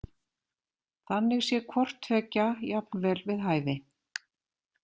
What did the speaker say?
Þannig sé hvorttveggja jafnvel við hæfi.